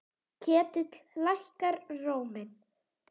Ketill lækkar róminn.